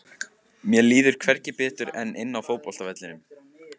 Mér líður hvergi betur en inni á fótboltavellinum.